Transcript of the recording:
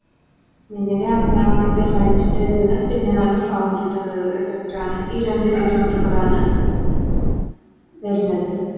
മിന്നല് ആദ്യത്തെ Light ൻറെ ഇത് പിന്നെയാണ് Sound ൻറെത് Effect ആണ് ഈ രണ്ടും ഏറ്റുമുട്ടമ്പളാണ് വര്ണത്